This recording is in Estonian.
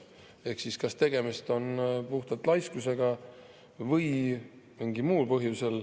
Ehk siis tegemist on kas puhtalt laiskusega või on see nii mingil muul põhjusel.